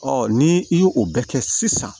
ni i ye o bɛ kɛ sisan